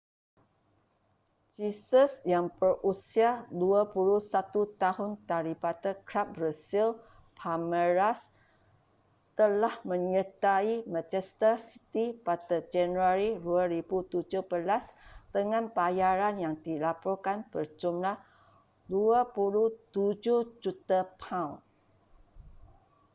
jesus yang berusia 21 tahun daripada kelab brazil palmeiras telah menyertai manchester city pada januari 2017 dengan bayaran yang dilaporkan berjumlah £ 27 juta